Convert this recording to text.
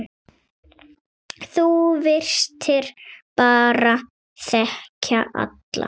Þú virtist bara þekkja alla.